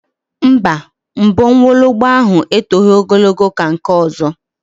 Mba, mbọ nwologbo ahụ etoghi ogologo ka nke ọzọ